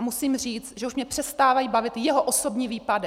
A musím říct, že už mě přestávají bavit jeho osobní výpady.